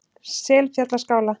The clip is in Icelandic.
Selfjallaskála